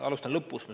Alustan lõpust.